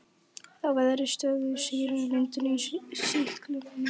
Þá verður stöðug sýrumyndun í sýklunni.